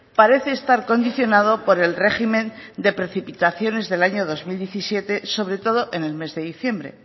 parece estar condicionado por el régimen de precipitaciones del año dos mil diecisiete sobre todo en el mes de diciembre